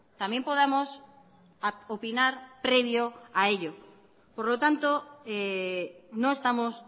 también podamos opinar previo a ello por lo tanto no estamos